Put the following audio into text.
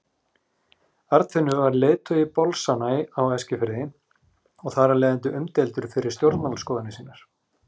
Arnfinnur var leiðtogi bolsanna á Eskifirði og þar af leiðandi umdeildur fyrir stjórnmálaskoðanir sínar.